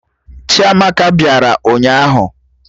Chiamaka bịara ụnyaahụ